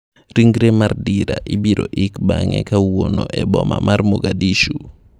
Ringre mar Dirah ibiro ik bang'e kawuono eboma mar Moghadishu.